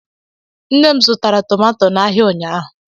Nne m zụtara tomato n'ahia ụnyaahụ.